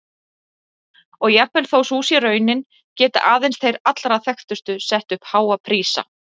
Og jafnvel þó sú sé raunin geta aðeins þeir allra þekktustu sett upp háa prísa.